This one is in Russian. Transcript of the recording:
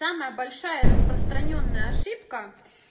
самая большая распространённая ошибка